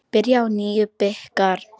Byrjar á nýjum bikar.